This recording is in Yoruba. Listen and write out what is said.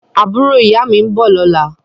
Àbúrò ìyá mi ń bọ̀ lọ́la